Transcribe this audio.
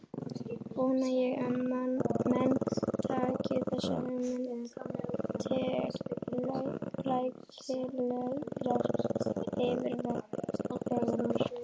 Vona ég að menn taki þessa hugmynd til rækilegrar yfirvegunar.